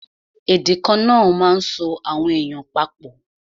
Èdè kana máa ń so àwọn èèyàn pa pọ̀